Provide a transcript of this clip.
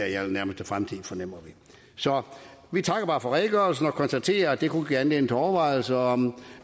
i allernærmeste fremtid fornemmer vi så vi takker bare for redegørelsen og konstaterer at det kunne give anledning til overvejelser om